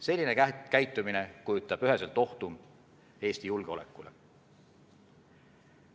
Selline käitumine kujutab üheselt ohtu Eesti julgeolekule.